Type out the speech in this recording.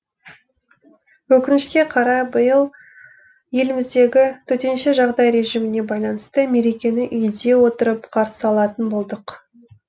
өкінішке қарай биыл еліміздегі төтенше жағдай режиміне байланысты мерекені үйде отырып қарсы алатын болдық